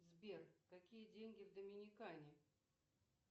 сбер какие деньги в доминикане